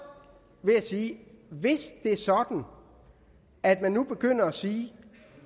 vil sige at hvis det er sådan at man nu begynder at sige